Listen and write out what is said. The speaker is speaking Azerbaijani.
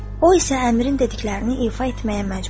O isə əmirin dediklərini ifa etməyə məcburdur.